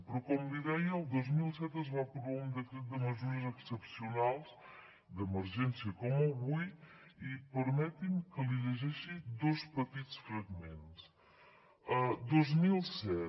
però com li deia el dos mil set es va aprovar un decret de mesures excepcionals d’emergència com avui i permeti’m que li’n llegeixi dos petits fragments dos mil set